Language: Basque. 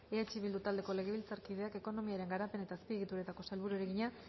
eh bildu taldeko legebiltzarkideak ekonomiaren garapen eta azpiegituretako sailburuari egina